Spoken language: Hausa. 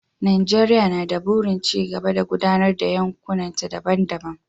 Najeriya na da burin ci gaba da gudanar da yankunanta daban-daban.